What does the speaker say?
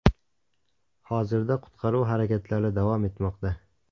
Hozirda qutqaruv harakatlari davom etmoqda.